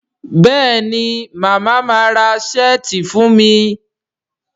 Béèni Mama má rà Ṣẹ́ẹ̀tì fún mí?